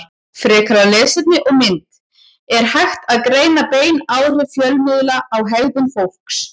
Frekara lesefni og mynd Er hægt að greina bein áhrif fjölmiðla á hegðun fólks?